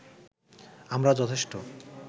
আমরা যথেষ্ট